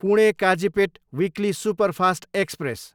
Pune, Kazipet weekly superfast express